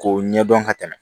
K'o ɲɛdɔn ka tɛmɛ